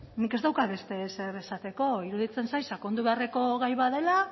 nik ez daukat beste ezer esateko iruditzen zait sakondu beharreko gai bat dela